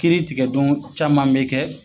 Kiritigɛ don caman bɛ kɛ